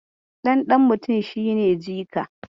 Ɗan ɗan mutum shi ne jika.